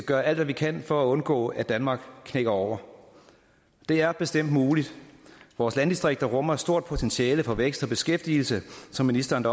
gøre alt hvad vi kan for at undgå at danmark knækker over det er bestemt muligt vores landdistrikter rummer et stort potentiale for vækst og beskæftigelse som ministeren